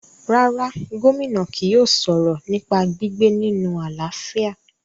rárá, Gómìnà kì yóò sọ̀rọ̀ nípa gbígbé nínu àlàáfíà